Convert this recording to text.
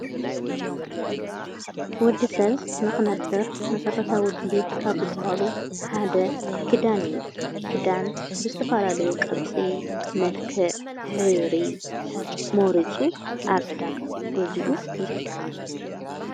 ወዲ ሰብ ንኽነብር መሠረታዊ ዲልየታት ካብ ዝብሃሉ ሓደ ክዳን እዩ ክዳን ብዝተፋላለዩ ቕርጺ መልክዕ ሕብሪ መሪጹ ኣብ ዕዳጋ ጐዚኡ ይኽደ